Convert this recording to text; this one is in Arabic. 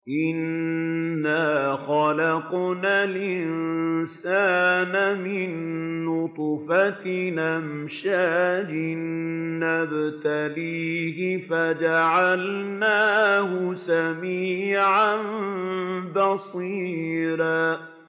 إِنَّا خَلَقْنَا الْإِنسَانَ مِن نُّطْفَةٍ أَمْشَاجٍ نَّبْتَلِيهِ فَجَعَلْنَاهُ سَمِيعًا بَصِيرًا